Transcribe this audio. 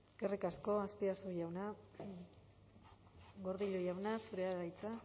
eskerrik asko azpiazu jauna gordillo jauna zurea da hitza